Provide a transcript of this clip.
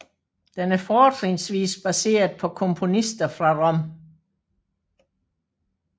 Den er fortrinsvis baseret på komponister fra Rom